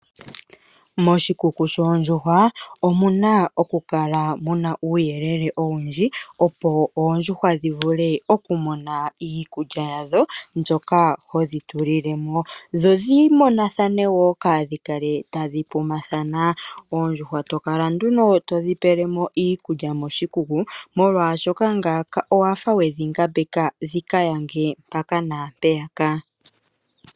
Moshikuku shoondjuhwa omuna okukala muna uuyelele owundji opo oondjuhwa dhi vule okumona iikulya yadho ndjoka hodhi tulile mo dho dhimonathane woo kadhi kale tadhi pumathana . Oondjuhwa tokala nduno todhi tulilemo moshikuku molwaashoka ngaaka owafa wedhi ngambeka dhika yange mpaka naampeyaka.